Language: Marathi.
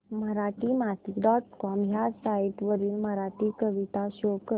मराठीमाती डॉट कॉम ह्या साइट वरील मराठी कविता शो कर